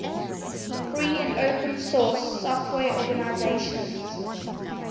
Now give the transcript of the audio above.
free and open source software organizations